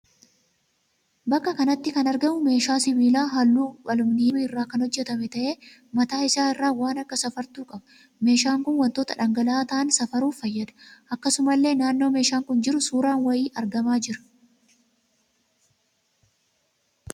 Bakka kanatti kan argamu meeshaa sibiila halluu aluminiyeemii irraa kan hojjetame ta'ee mataa isaa irraa waan akka safartuu qaba. Meeshaan kun wantoota dhangala'aa ta'aan safaruuf fayyada. Akkasumallee naannoo meeshaan kun jiru suuraan wayii argamaa jira.